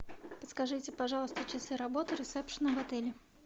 подскажите пожалуйста часы работы ресепшена в отеле